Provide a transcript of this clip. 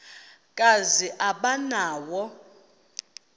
kazi aba nawo